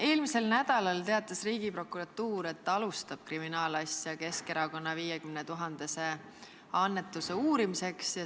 Eelmisel nädalal teatas Riigiprokuratuur, et alustab kriminaalasja Keskerakonna 50 000 euro suuruse annetuse uurimiseks.